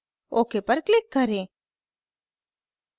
ok पर click करें